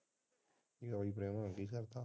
ਕੰਮਕਾਰ ਠੀਕ ਚੱਲਦਾ